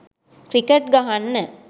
cricket ගහන්න